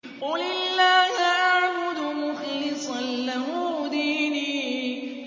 قُلِ اللَّهَ أَعْبُدُ مُخْلِصًا لَّهُ دِينِي